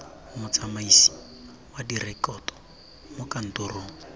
motsamaisi wa direkoto mo kantorong